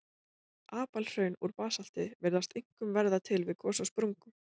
Apalhraun úr basalti virðast einkum verða til við gos á sprungum.